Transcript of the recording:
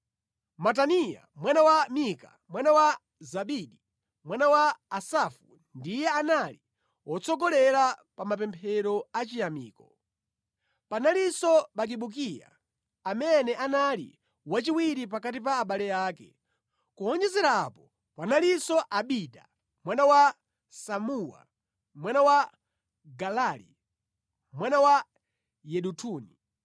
Mataniya mwana wa Mika, mwana wa Zabidi, mwana wa Asafu ndiye anali wotsogolera pa mapemphero achiyamiko. Panalinso Bakibukiya amene anali wachiwiri pakati pa abale ake. Kuwonjezera apo panalinso Abida mwana wa Samuwa, mwana wa Galali, mwana wa Yedutuni.